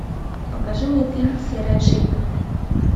покажи мне фильм серая шейка